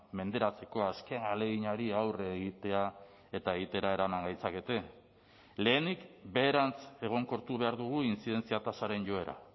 menderatzeko azken ahaleginari aurre egitea eta egitera eraman gaitzakete lehenik beherantz egonkortu behar dugu intzidentzia tasaren joera